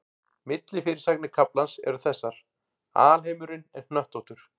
Millifyrirsagnir kaflans eru þessar: Alheimurinn er hnöttóttur.